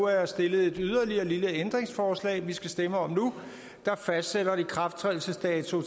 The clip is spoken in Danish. er stillet yderligere et lille ændringsforslag vi skal stemme om nu der fastsætter en ikrafttrædelsesdato